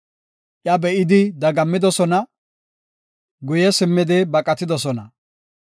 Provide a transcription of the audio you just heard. Iya be7idi dagammidosona; guye simmidi baqatidosona.